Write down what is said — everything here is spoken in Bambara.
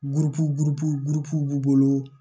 b'u bolo